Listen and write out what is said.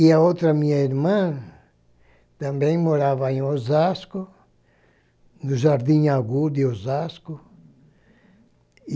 E a outra minha irmã também morava em Osasco, no Jardim Agudo em Osasco. E